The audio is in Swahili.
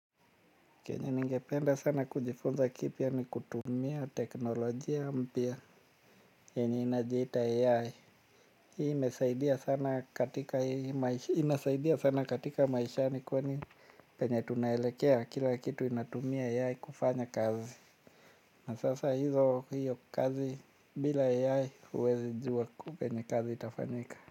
Kenye ningependa sana kujifunza kipya ni kutumia teknolojia mpya yenye inajiita AI. Hii inasaidia sana katika maishani kwani penye tunaelekea kila kitu inatumia AI kufanya kazi. Na sasa hizo hiyo kazi bila AI huwezi jua venye kazi itafanyika.